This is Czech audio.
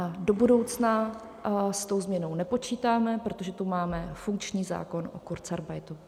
A do budoucna s tou změnou nepočítáme, protože tu máme funkční zákon o kurzarbeitu.